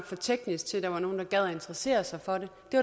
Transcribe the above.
for teknisk til at nogen gad interessere sig for det